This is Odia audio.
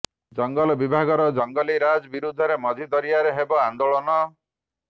ଜଙ୍ଗଲ ବିଭାଗର ଜଙ୍ଗଲି ରାଜ ବିରୋଧରେ ମଝି ଦରିଆରେ ହେବ ଆନେ୍ଦାଳନ